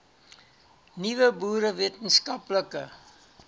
nuwe boere wetenskaplike